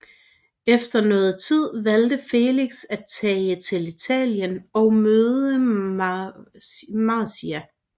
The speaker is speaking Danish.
Efter noget tid valgte Felix at tage til Italien og møde Marzia